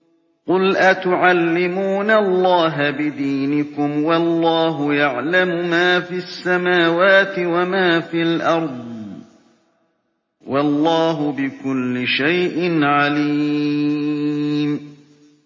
قُلْ أَتُعَلِّمُونَ اللَّهَ بِدِينِكُمْ وَاللَّهُ يَعْلَمُ مَا فِي السَّمَاوَاتِ وَمَا فِي الْأَرْضِ ۚ وَاللَّهُ بِكُلِّ شَيْءٍ عَلِيمٌ